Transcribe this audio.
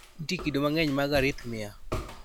nitie kido mang'eny mag arrhythmia